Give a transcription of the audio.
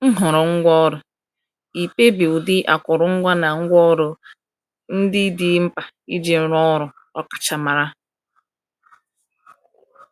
Nhọrọ Ngwaọrụ — Ịkpebi ụdị akụrụngwa na ngwaọrụ ndị dị mkpa iji rụọ ọrụ ọkachamara.